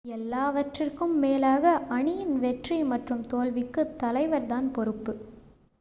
எல்லாவற்றிற்கும் மேலாக அணியின் வெற்றி மற்றும் தோல்விக்கு தலைவர் தான் பொறுப்பு